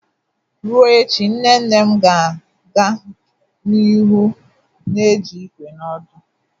Ruo echi, nne nne m ga-aga n'ihu na eji ìkwé na òdù.